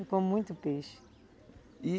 Eu como muito peixe. E